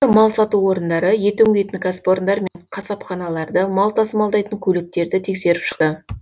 олар мал сату орындары ет өңдейтін кәсіпорындар мен қасапханаларды мал тасымалдайтын көліктерді тексеріп шықты